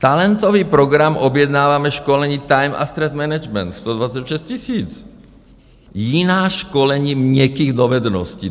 Talentový program: objednáváme školení time a stress management, 126 000, jiná školení měkkých dovedností.